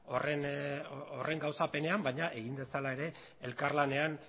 horren gauzapenean baina egin dezala ere elkarlanean